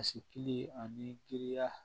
Basikili ani giriya